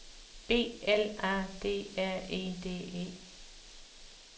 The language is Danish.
B L A D R E D E